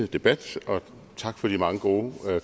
debat og tak for de mange gode